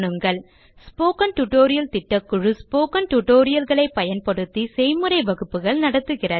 spoken tutorial திட்டக்குழு spoken tutorial களை பயன்படுத்தி செய்முறை வகுப்புகள் நடத்துகிறது